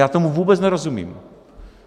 Já tomu vůbec nerozumím!